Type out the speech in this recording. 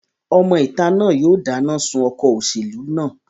Ọmọ ìta náà yóò dáná sun ọkọ̀ òṣèlú náà